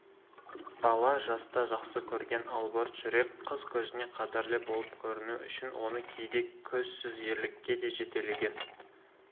бала жаста жақсы көрген албырт жүрек қыз көзіне қадірлі болып көріну үшін оны кейде көзсіз ерлікке де жетектеген